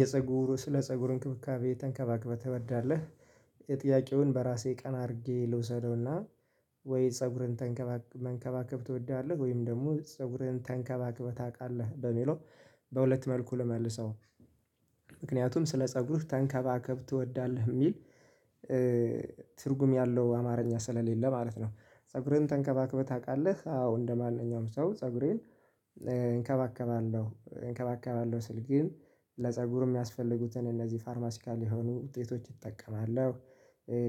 የፀጉሩ ስለ ፀጉር እንክብካቤ ተንከባክበህ ትወዳለህ? የጥያቄውን በራሴ ቀና አድርጌ ልውሰደውና። ወይ ፀጉርን ተንከባከብ መንከባከብ ትወዳለህ ወይም ደግሞ ፀጉርህን ተንከባከበህ ታውቃለህ በሚለው። በሁለት መልኩ ልመልሰው። ምክንያቱም ስለ ፀጉርህ ተንከባከብ ትወዳለህ የሚል ትርጉም ያለው አማርኛ ስለሌለ ማለት ነው። ፀጉርህን ተንከባክበህ ታውቃለህ አዎ እንደማንኛውም ሰው ፀጉሬን። እንከባከባለሁ ስል ግን ለፀጉር የሚያስፈልጉትን እነዚህ ፋርማሲካል የሆኑ ውጤቶች ይጠቀማለሁ።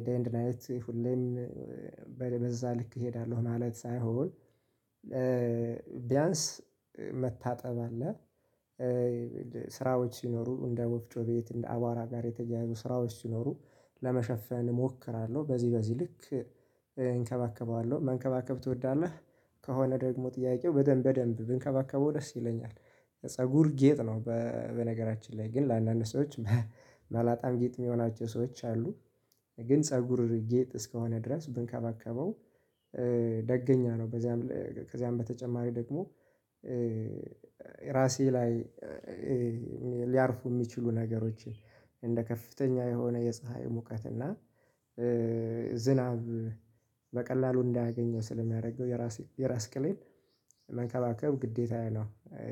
ዴይ ኤንድ ናይት ሁሌም። በዛ ልክ እሄዳለሁ ማለት ሳይሆን። ቢያንስ መታጠብ አለ። ስራዎች ሲኖሩ እንደ ወፍጮ ቤት እንደ አቧራ ጋር የተገናኙ ስራዎች ሲኖሩ። ለመሸፈን እሞክራለሁ በዚህ በዚህ ልክ። እንከባከበዋለሁ መንከባከብ ትወዳለህ? ከሆነ ደግሞ ጥያቄው በደንብ በደንብ ብንከባከበው ደስ ይለኛል። ፀጉር ጌጥ ነው በነገራችን ላይ ግን ለአንዳንድ ሰዎች መላጣም ጌጥ የሚሆናቸው ሰዎች አሉ። ግን ፀጉር ጌጥ እስከሆነ ድረስ ብንከባከበው። ደገኛ ነው በዚያም ከዚያም በተጨማሪ ደግሞ። ራሴ ላይ። ሊያርፉ የሚችሉ ነገሮችን እንደ ከፍተኛ የሆነ የፀሀይ ሙቀት እና ዝናብ። በቀላሉ እንዳያገኘው ስለሚያደርገው የራስ የራስ ቅሌን መከባከብ ግዴታዬ ነው።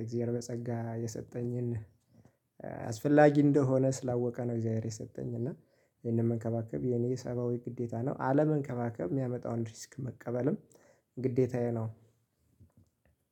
እግዚአብሔር ጸጋ የሰጠኝን አስፈላጊ እንደሆነ ስላወቀ ነው። እግዚአብሔር የሰጠኝ እና ይሄንን መንከባከብ የኔ ሰባዊ ግዴታ ነው። አለመንከባከብ የሚያመጣውን ሪስክ መቀበልም ግዴታዬ ነው።